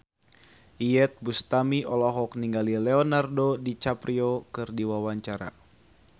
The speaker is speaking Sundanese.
Iyeth Bustami olohok ningali Leonardo DiCaprio keur diwawancara